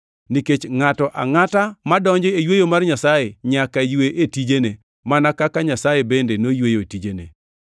nikech ngʼato angʼata madonjo e yweyo mar Nyasaye nyaka ywe e tijene, mana kaka Nyasaye bende noyweyo e tijene.